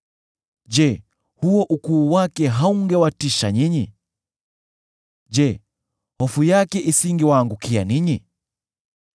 Je, huo ukuu wake haungewatisha ninyi? Je, hofu yake isingewaangukia ninyi?